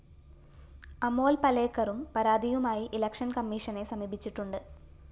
അമോല്‍ പലേക്കറും പരാതിയുമായി ഇലക്ഷന്‍കമ്മീഷനെ സമീപിച്ചിട്ടുണ്ട്‌